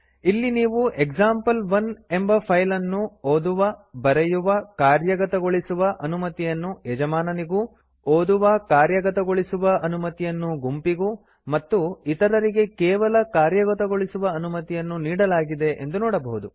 ಇಲ್ಲಿ ನೀವು ಎಕ್ಸಾಂಪಲ್1 ಎಂಬ ಫೈಲ್ ಅನ್ನು ಓದುವಬರೆಯುವಕಾರ್ಯಗತಗೊಳಿಸುವ ಅನುಮತಿಯನ್ನು ಯಜಮಾನನಿಗೂ ಓದುವಕಾರ್ಯಗತಗೊಳಿಸುವ ಅನುಮತಿಯನ್ನು ಗುಂಪಿಗೂ ಮತ್ತು ಇತರರಿಗೆ ಕೇವಲ ಕಾರ್ಯಗತಗೊಳಿಸುವ ಅನುಮತಿಯನ್ನು ನೀಡಲಾಗಿದೆ ಎಂದು ನೋಡಬಹುದು